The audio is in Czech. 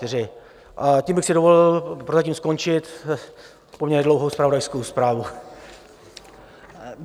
Tím bych si dovolil prozatím skončit poměrně dlouhou zpravodajskou zprávu.